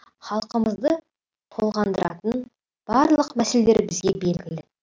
халқымызды толғандыратын барлық мәселелер бізге белгілі